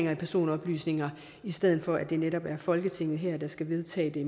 af personoplysninger i stedet for at det netop er folketinget her der skal vedtage det